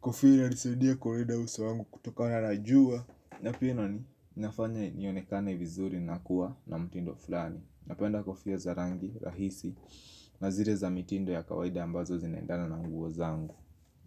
Kofia inanisaidia kuondoa uso wangu kutokana na jua na pia inafanya nionekane vizuri na kuwa na mutindo fulani Napenda kofia za rangi rahisi, na zire za mitindo ya kawaida ambazo zinaendana na nguo zangu.